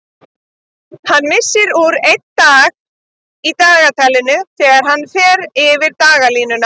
Hann missir úr einn dag í dagatalinu þegar hann fer yfir dagalínuna.